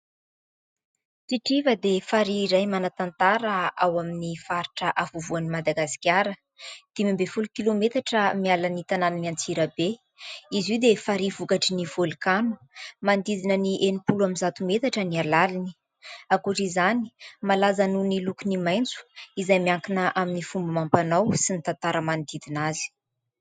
Tritriva dia farihy iray manantantara ao amin'ny faritra afovoan'i Madagasikara; dimy ambin'ny folo kilometatra miala ny tanàna an'Antsirabe. Izy io dia farihy vokatry ny vôlkano, manodidina ny enimpolo amby zato metatra ny alaliny. Ankoatr'izany dia malaza nohon'ny lokony maitso izay miankina amin'ny fomba amam-panao sy ny tantara manodidina azy.